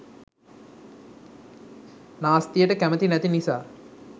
නාස්තියට කැමති නැති නිසා